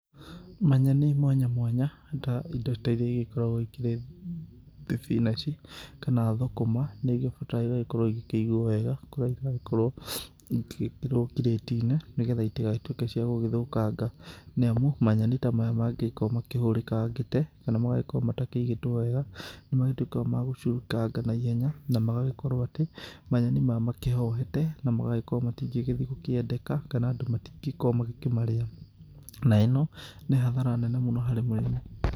Manyeni mwanya mwanya ta indo iria igĩkoragwo ikĩrĩ ta thibinanji kana thũkũma nĩ igĩbataraga igagĩkorwo igĩkĩigwo wega kũrĩa iragĩkorwo igĩgĩkĩrwo kĩrĩti-inĩ, nĩ getha itigagĩtuĩke cia gũgĩthũkanga. Nĩ amu manyeni ta maya mangĩgĩkorwo makĩhũrĩkangĩte kana magagĩkorwo matakĩigĩtwo wega. Nĩ matuĩkaga ma gũcurũkanga na ihenya na magagĩkorwo atĩ manyeni maya makĩhohete na magagĩkorwo matingĩgĩthiĩ gũkĩendeka kana andũ matingĩrwo makĩmarĩa, na ĩno nĩ hathara nene mũno harĩ mũrĩmi.